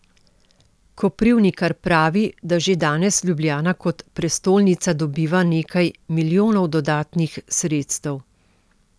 Koprivnikar pravi, da že danes Ljubljana kot prestolnica dobiva nekaj milijonov dodatnih sredstev.